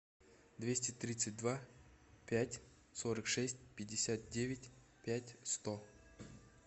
двести тридцать два пять сорок шесть пятьдесят девять пять сто